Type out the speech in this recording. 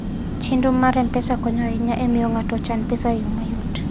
Chenro mar M-Pesa konyo ahinya e miyo ng'ato ochan pesa e yo mayot.